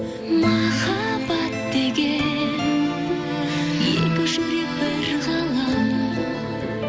махаббат деген екі жүрек бір ғалам